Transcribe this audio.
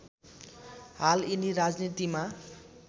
हाल यिनी राजनीतिमा